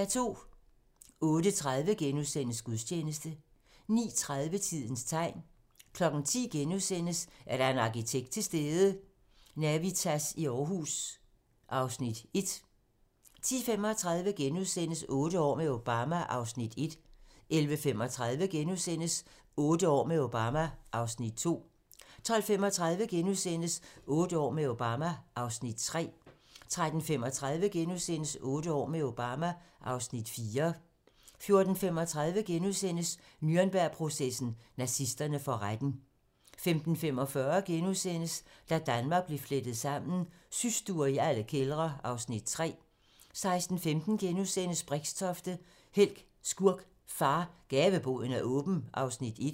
08:30: Gudstjeneste * 09:30: Tidens tegn 10:00: Er der en arkitekt til stede? - Navitas i Aarhus (Afs. 1)* 10:35: Otte år med Obama (Afs. 1)* 11:35: Otte år med Obama (Afs. 2)* 12:35: Otte år med Obama (Afs. 3)* 13:35: Otte år med Obama (Afs. 4)* 14:35: Nürnbergprocessen: Nazisterne for retten * 15:45: Da Danmark blev flettet sammen: Systuer i alle kældre (Afs. 3)* 16:15: Brixtofte - helt, skurk, far - Gaveboden er åben (Afs. 1)*